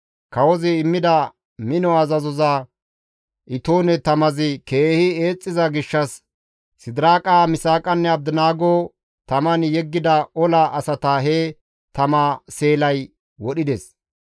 Kawozi immida mino azazoza itoone tamazi keehi eexxiza gishshas Sidiraaqa, Misaaqanne Abdinaago taman yeggida ola asata he tama seelay wodhides.